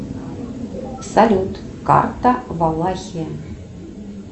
салют карта валахия